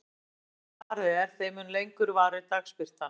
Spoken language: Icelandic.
Því norðar sem farið er, þeim mun lengur varir dagsbirtan.